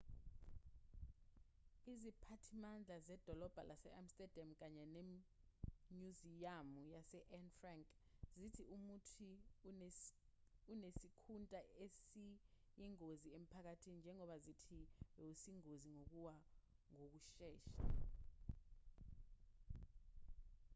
iziphathimandla zedolobha lase-amsterdam kanye nemnyuziyamu ka-anne frank zithi umuthi unesikhunta esiyingozi emphakathini njengoba zithi bowusengozini yokuwa ngokushesha